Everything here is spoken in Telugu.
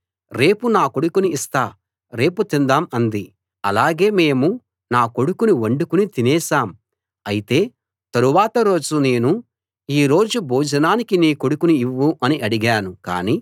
అలాగే మేము నా కొడుకుని వండుకుని తినేశాం అయితే తరువాత రోజు నేను ఈ రోజు భోజనానికి నీ కొడుకుని ఇవ్వు అని అడిగాను కానీ ఆమె తన కొడుకుని దాచిపెట్టుకుంది అని చెప్పింది